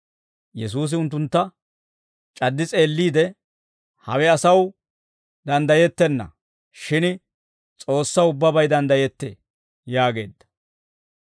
Yesuusi unttuntta c'addi s'eelliide, «Hawe asaw danddayettenna; shin S'oossaw ubbabay danddayettee» yaageedda.